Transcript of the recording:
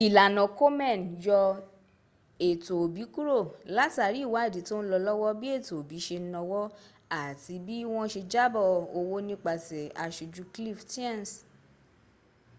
ìlànà komen yọ ètò òbí kúrò látàrí ìwádìí tọ́ ń lọ lọ́wọ́ bí ètò òbí ṣe náwó àti bí wọ́n ṣe jábọ̀ owó nípasẹ̀ àṣójú cliff stearns